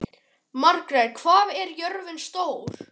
Margrjet, hvað er jörðin stór?